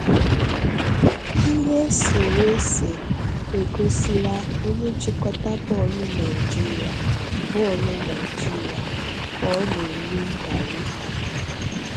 Ihe eserese egosila onye nchịkọta bọọlụ Naịjirịa bọọlụ Naịjirịa ka ọ na-eri ngarị́